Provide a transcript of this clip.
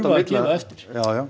að gefa eftir já já